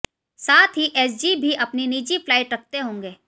साथ ही एसजी भी अपनी निजी फ्लाइट रखते होगें